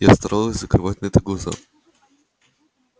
я старалась закрывать на это глаза